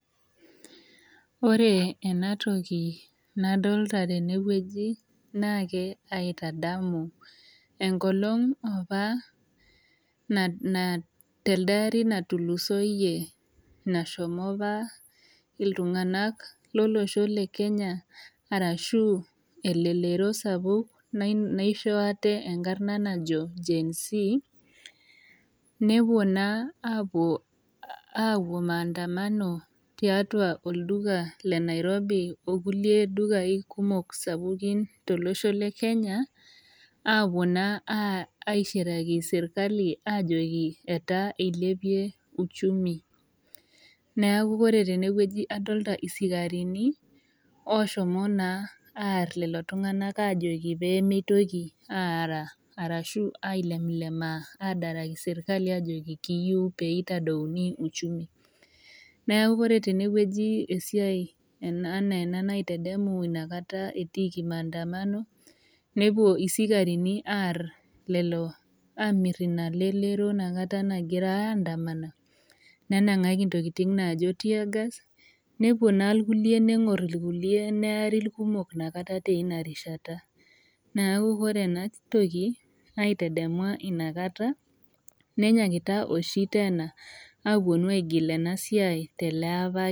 Ore ena toki nadolita naitadamu enkolong apa atulusoi telde ari nashomo apa iltunganak lolosho lenkenya aa elelero ooji Gen Z nepuo aiandamana tolduka sapuk le Nairobi okulie dukai sapuki aishiraki sirkali aajoki elipie ushumi. Elio irpolisi eerita lelo tunganak aajoki peyie meitoki ailepilepaki serkali peyie eitadou uchumi. Etimira apa irpolisi lelo oidikidiko nemiraa nenangieki teargass neari kulie metuata tena rishata. Nenyaakita ake aitoki aigil ena siai.